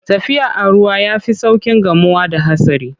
Tafiya a ruwa ya fi sauƙin gamuwa da hatsari.